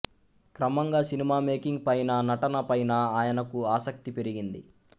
క్రమంగ cinema making పైన నటన పైనా ఆయనకు ఆసక్తి పెరిగింది